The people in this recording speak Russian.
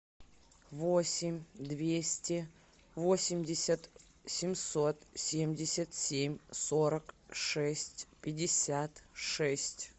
восемь двести восемьдесят семьсот семьдесят семь сорок шесть пятьдесят шесть